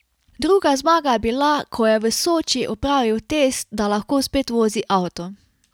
Druga zmaga je bila, ko je v Soči opravil test, da lahko spet vozi avto.